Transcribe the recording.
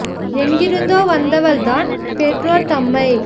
எங்கிருந்தோ வந்தவள்தான் பெற்றோர் தம்மை